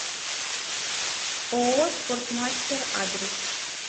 ооо спортмастер адрес